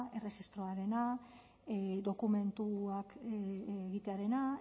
erregistroarena dokumentuak egitearena